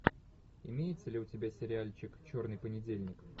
имеется ли у тебя сериальчик черный понедельник